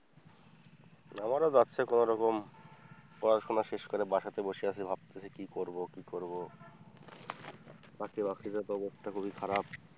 আমারও যাচ্ছে কোন রকম পড়াশোনা শেষ করে বাসাতে বসে আছি ভাবতেছি কি করব কি করব, চাকরি বাকরিরও তো অবস্থা খুব খারাপ।